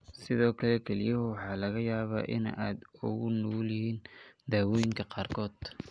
Sidoo kale, kelyahaagu waxa laga yaabaa inay aad ugu nugul yihiin daawooyinka qaarkood.